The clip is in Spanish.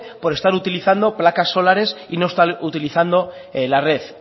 por estar utilizando placas solares y no estar utilizando la red